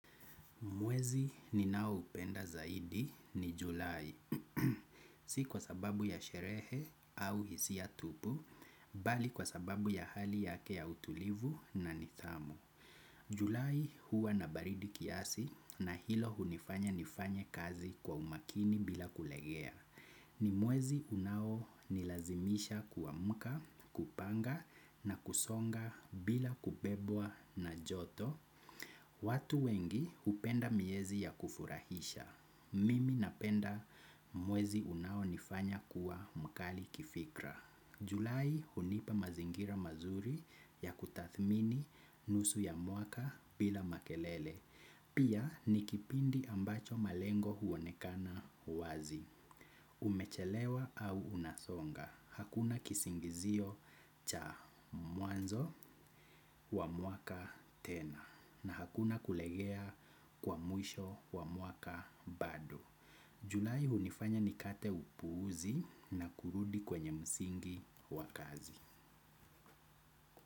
Mwezi ninaoupenda zaidi ni julai. Si kwa sababu ya sherehe au hisia tupu, bali kwa sababu ya hali yake ya utulivu na nidhamu. Julai huwa na baridi kiasi na hilo hunifanya nifanye kazi kwa umakini bila kulegea. Ni mwezi unaonilazimisha kuamka, kupanga na kusonga bila kubebwa na joto. Watu wengi hupenda miezi ya kufurahisha. Mimi napenda mwezi unaonifanya kuwa mkali kifikra. Julai hunipa mazingira mazuri ya kutadhmini nusu ya mwaka bila makelele. Pia ni kipindi ambacho malengo huonekana wazi. Umechelewa au unasonga. Hakuna kisingizio cha mwanzo wa mwaka tena. Na hakuna kulegea kwa mwisho wa mwaka bado. Julai hunifanya nikate upuzi na kurudi kwenye msingi wa kazi.